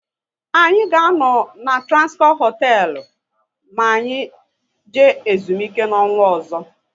Anyị ga anọ na Transcorp hotelu na anyị jee ezumike n'ọnwa ọzọ